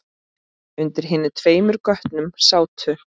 Undir hinum tveimur götunum sátu